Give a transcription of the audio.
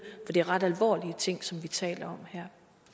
det er ret alvorlige ting som vi taler om her